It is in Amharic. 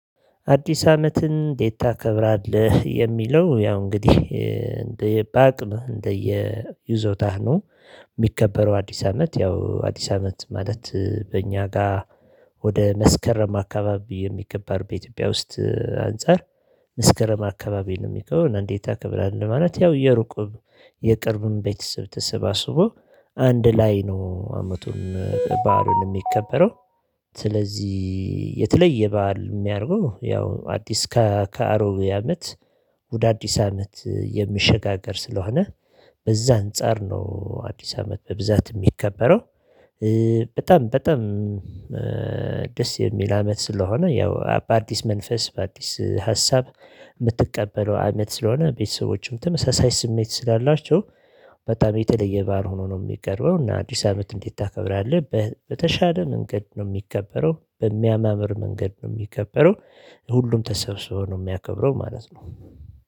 አዲስ አመትን እንዴት ታከብራለህ የሚለው ያው እንግዲህ እንደ በአቅም እንደየ ይዞታህ ነው። ሚከበረው አዲስ አመት ያው አዲስ አመት ማለት በእኛ ጋር። ወደ መስከረም አካባቢ የሚከበር በኢትዮጵያ ውስጥ አንፃር። መስከረም አካባቢ ነው ሚከብረው እና እንዴት አከብራለሁ ማለት ያው የሩቅ የቅርቡን ቤተስብ ተሰባስቦ አንድ ላይ ነው። አመቱን በዓሉን ሚከበረው። ስለዚህ የተለየ በዓል ሚያደርገው ያው አዲስ ከአሮጌ አመት። ወደ አዲስ አመት የሚሸጋገር ስለሆነ በዛ አንፃር ነው አዲስ አመት በብዛት ሚከበረው። በጣም በጣም ደስ የሚል አመት ስለሆነ ያው በአዲስ መንፈስ በአዲስ ሀሳብ። ምትቀበለው አመት ስለሆነ ቤተሰቦችም ተመሳሳይ ስሜት ስላላቸው በጣም የተለየ በዓል ሆኖ ነው የሚከብረው። እና አዲስ አመት እንዴት ታከብራለህ? በተሻለ መንገድ ነው ሚከበረው በሚያማምር መንገድ ነው ሚከበረው። ሁሉም ተሰብስቦ ነው ሚያከብረው ማለት ነው